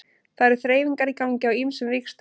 Það eru þreifingar í gangi á ýmsum vígstöðvum.